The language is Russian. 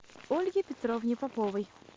ольге петровне поповой